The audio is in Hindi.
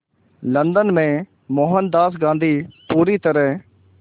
लंदन में मोहनदास गांधी पूरी तरह